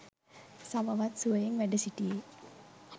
සමවත් සුවයෙන් වැඩ සිටියේ